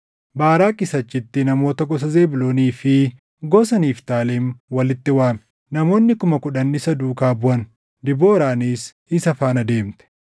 Baaraaqis achitti namoota gosa Zebuuloonii fi gosa Niftaalem walitti waame. Namoonni kuma kudhan isa duukaa buʼan; Debooraanis isa faana deemte.